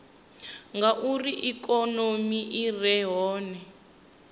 ngauri ikonomi i re hone